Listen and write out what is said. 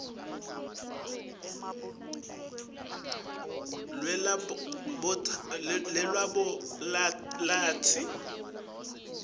bangaceli luhlolo lwelabholathri